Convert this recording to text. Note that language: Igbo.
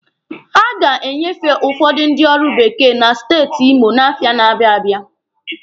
A ga-enyefe ụfọdụ ndị ọrụ bekee na steeti Imo n'afọ na-abịa abịa.